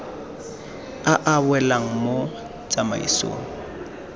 a a welang mo tsamaisong